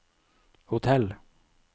hotell